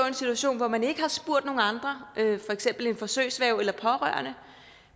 en situation hvor man ikke har spurgt nogen andre for eksempel en forsøgsværge eller pårørende